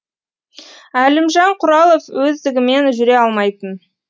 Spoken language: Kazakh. әлімжан құралов өздігімен жүре алмайтын